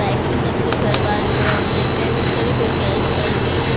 Life मे सबके कोई ऑनलाइन पेमेंट करे कोई कैश कर रहे है।